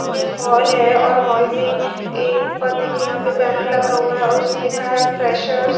सामने हॉल है और हॉल में ऊपर देखिए यहां पर बैनर लगा हुआ है अ उस पर लिखा है फ्रेशर्स ।